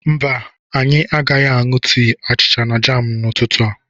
Mba anyị agaghị aṅụ tii, achịcha na jam n'ụtụtụ a.